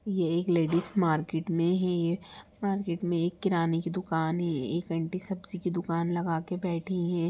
ये एक ladies market में है मार्केट में एक किराने की दुकान है। एक आंटी सब्जी की दुकान लगाके बैठी हैं।